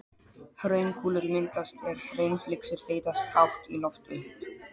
Hraunkúlur myndast er hraunflygsur þeytast hátt í loft upp.